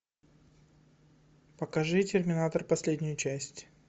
покажи терминатор последнюю часть